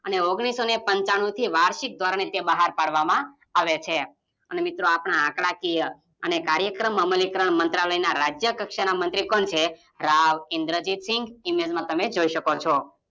અને ઓગણીસોને પંચાણુંથી વરસિક ધોરણે બહાર પાડવામાં આવે છે આપણા આંકડાકીય અને કરાયક્રમ અમલીકરણ મંત્રાલયના રાજ્ય કક્ષાના મંત્રી કોણ છે રાવ ઇંદ્રજીતસિંગ ઇમેજ એમને જોઈ શકો છો